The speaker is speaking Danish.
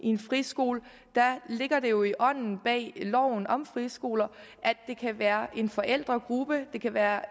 en friskole ligger det jo i ånden bag loven om friskoler at det kan være en forældregruppe det kan være